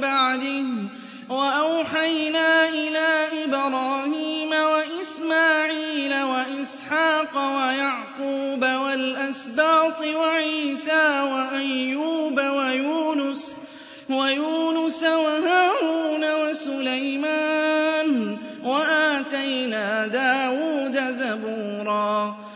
بَعْدِهِ ۚ وَأَوْحَيْنَا إِلَىٰ إِبْرَاهِيمَ وَإِسْمَاعِيلَ وَإِسْحَاقَ وَيَعْقُوبَ وَالْأَسْبَاطِ وَعِيسَىٰ وَأَيُّوبَ وَيُونُسَ وَهَارُونَ وَسُلَيْمَانَ ۚ وَآتَيْنَا دَاوُودَ زَبُورًا